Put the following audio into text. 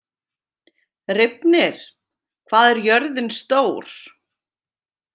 Reifnir, hvað er jörðin stór?